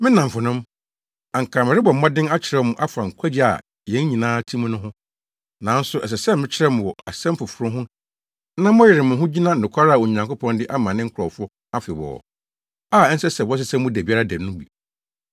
Me nnamfonom, anka merebɔ mmɔden akyerɛw mo afa nkwagye a yɛn nyinaa te mu no ho. Nanso ɛsɛ sɛ mekyerɛw mo wɔ asɛm foforo ho na moyere mo ho gyina nokware a Onyankopɔn de ama ne nkurɔfo afebɔɔ, a ɛnsɛ sɛ wɔsesa mu da biara da no mu.